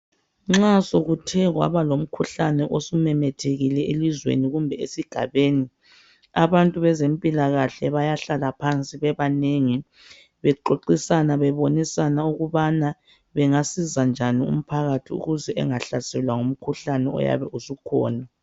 Nxa sekuthe kwaba lomkhuhlane osumemethekile elizweni kumbe esigabeni, abantu bezempilakahle bayahlala phansi bebanengi bexoxisana, bebonisana ukubana bengasiza njani umphakathi ukuze engahlaselwa ngumkhuhlane oyabe usukhona.